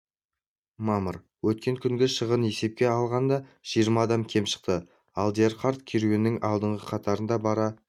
мамыр өткен күнгі шығын есепке алынғанда жиырма адам кем шықты алдияр қарт керуеннің алдыңғы қатарында бара